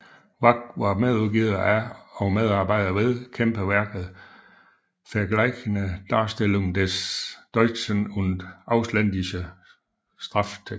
Wach var medudgiver af og medarbejder ved kæmpeværket Vergleichende Darstellung des Deutschen und Ausländischen Strafrechts